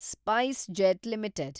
SpiceJet limited